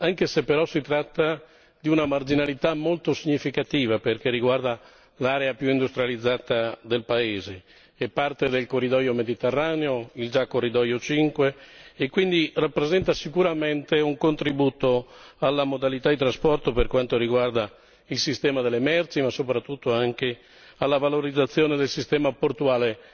anche se però si tratta di una marginalità molto significativa, perché riguarda l'area più industrializzata del paese e parte del corridoio mediterraneo, il già corridoio 5, e quindi rappresenta sicuramente un contributo alla modalità di trasporto per quanto riguarda il sistema delle merci, ma soprattutto anche alla valorizzazione del sistema portuale